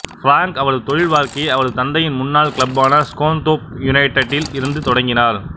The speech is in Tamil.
ஃபிராங்க் அவரது தொழில் வாழ்க்கையை அவரது தந்தையின் முன்னாள் கிளப்பான ஸ்கோன்தோர்ப் யுனைட்டடில் இருந்து தொடங்கினார்